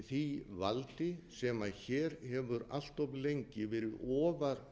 því valdi sem hér hefur allt of lengi verið ofar